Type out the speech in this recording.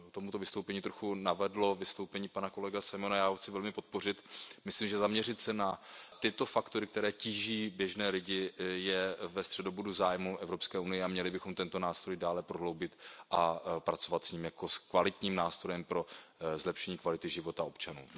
Mě k tomuto vystoupení trochu navedlo vystoupení pana kolegy Simona, já ho chci velmi podpořit, myslím, že zaměřit se na tyto faktory, které tíží běžné lidi, je ve středobodu zájmu Evropské unie a měli bychom tento nástroj dále prohloubit a pracovat s ním jako s kvalitním nástrojem pro zlepšení kvality života občanů.